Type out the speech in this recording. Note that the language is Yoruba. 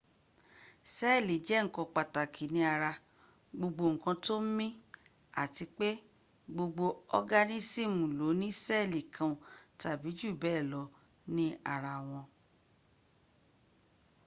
sẹ́ẹ̀lì jẹ́ ǹkan pàtàkì ní ara gbogbo ǹkan tó ń mí àti pé gbogbo organism lóní sẹ́ẹ̀lì kan tàbí jù bẹ́ẹ̀ lọ ní ara wọn